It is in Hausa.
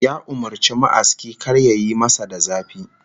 Ya umurci ma'aski kar yayi masa da zafi